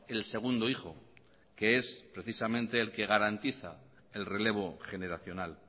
el segundo hijo que es precisamente el que garantiza el relevo generacional